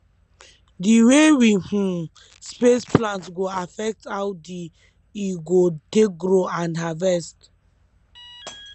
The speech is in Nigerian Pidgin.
d way we um space plant go affect how d e go take grow and harvest